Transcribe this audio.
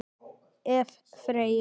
Ef. Freyju